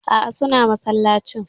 Aa, suna masallacin.